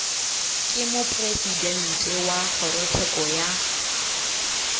ke mopresidente wa kgorotsheko ya